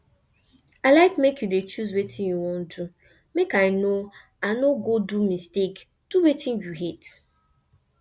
i like make you dey choose wetin you wan do make i no i no go do mistake do wetin you hate